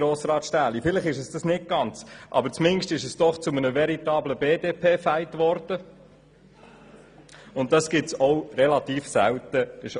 Grossrat Stähli, vielleicht ist es kein Glaubenskrieg, aber zumindest ist es doch zu einem vertiablen BDP-Fight gekommen, was doch relativ selten ist.